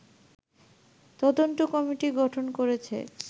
তদন্ত কমিটি গঠন করেছে